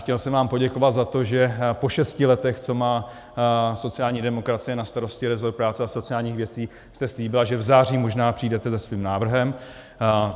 Chtěl jsem vám poděkovat za to, že po šesti letech, co má sociální demokracie na starosti rezort práce a sociálních věcí, jste slíbila, že v září možná přijdete se svým návrhem.